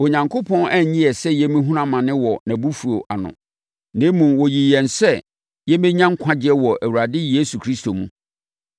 Onyankopɔn anyi yɛn sɛ yɛmmɛhunu amane wɔ nʼabufuo ano, na mmom, ɔyii yɛn sɛ yɛbɛnya nkwagyeɛ wɔ Awurade Yesu Kristo mu.